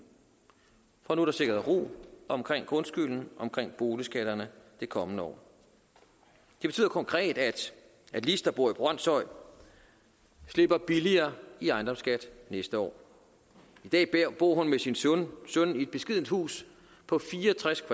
for nu er der sikret ro omkring grundskylden omkring boligskatterne det kommende år det betyder konkret at lis der bor i brønshøj slipper billigere i ejendomsskat næste år i dag bor hun med sin søn i et beskedent hus på fire og tres